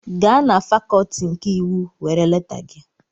Gaa na fakọlti nke iwu were leta gị!